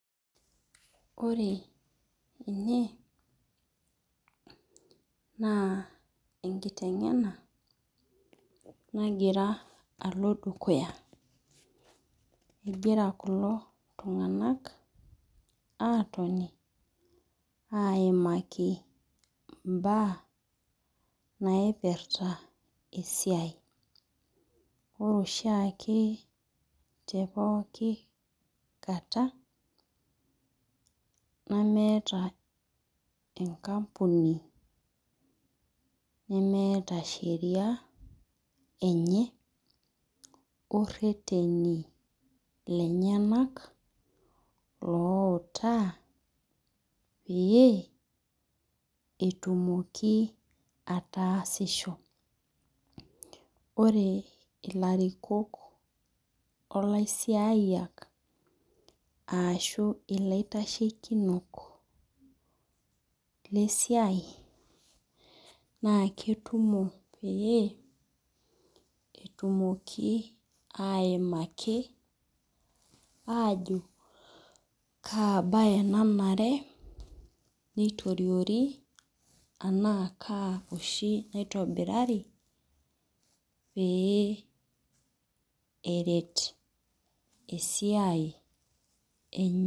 Ore ene, naa enkiteng'ena nagira alo dukuya. Egira kulo tung'anak atoni aimaki imbaa naipirta esiai. Ore oshiake te pooki kata, nemeeta enkampuni nemeeta sheria enye, orreteni lenyanak, loutaa pee etumoki ataasisho. Ore ilarikok olaisiaiyiak ashu ilaitashekinok lesiai, naa ketumo pee, etumoki aimaki ajo kaa bae nanare nitoriori, anaa kaa oshi naitobirari, pee eret esiai enye.